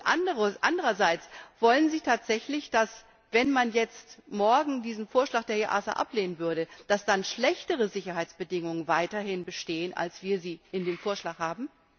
Und andererseits, wollen Sie tatsächlich, dass, wenn man jetzt morgen diesen Vorschlag der EASA ablehnen würde, dass dann schlechtere Sicherheitsbedingungen weiterhin bestehen, als wir sie in dem Vorschlag haben?